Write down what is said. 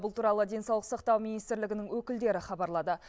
бұл туралы денсаулық сақтау министрлігінің өкілдері хабарлады